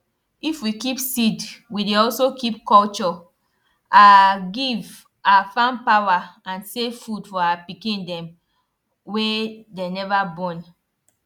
if we keep seed we dey also keep culture our give our farm power and save food for our pikin dem wen dey neva born